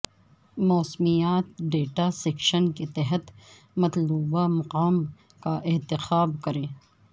موسمیاتی data section کے تحت مطلوبہ مقام کا انتخاب کریں